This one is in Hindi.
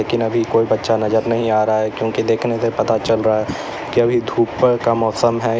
अभी कोई बच्चा नजर नहीं आ रहा है क्योंकि देखने से पता चल रहा है कि अभी धूप का मौसम है।